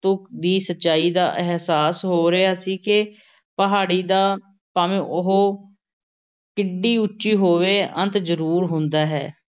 ਤੁਕ ਦੀ ਸੱਚਾਈ ਦਾ ਅਹਿਸਾਸ ਹੋ ਰਿਹਾ ਸੀ ਕਿ ਪਹਾੜੀ ਦਾ, ਭਾਵੇਂ ਉਹ ਕਿੱਡੀ ਉੱਚੀ ਹੋਵੇ, ਅੰਤ ਜ਼ਰੂਰ ਹੁੰਦਾ ਹੈ ।